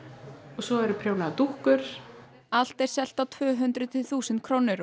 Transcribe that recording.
svo eru prjónaðar dúkkur allt er selt á tvö hundruð til þúsund krónur og